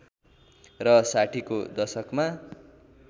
र ६० को दशकमा